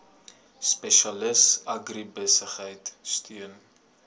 spesialis agribesigheid steun